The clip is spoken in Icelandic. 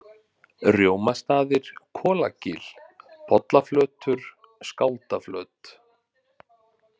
Rjómastaðir, Kolagil, Pollaflötur, Skáldaflöt